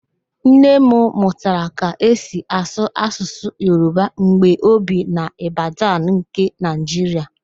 Nne m mụtara ka e si asụ Asụsụ Yoroba mgbe o bi n'Ibadan nke Naịjiria